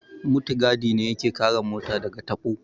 Mutigadi ne ya ke kare mota da ga taɓo